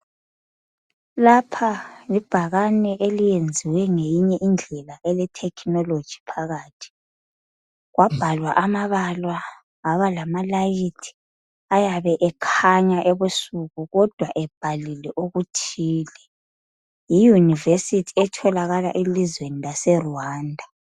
Lapha libhakane eliyenziwe ngeyinye indlela elethekhinoloji phakathi. Kwabhalwa amabala aba lamalayithi ayabe ekhanya ebusuku kodwa ebhalile okuthile. Yiyunivesithi etholakala elizweni laseRwanda.